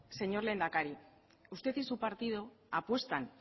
señor lehendakari usted y su partido apuestan